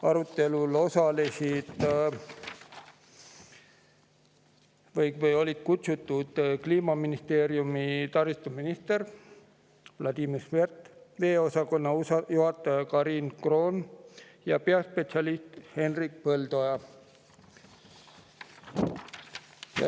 Arutelule olid kutsutud Kliimaministeeriumist taristuminister Vladimir Svet, veeosakonna juhataja Karin Kroon ja peaspetsialist Hendrik Põldoja.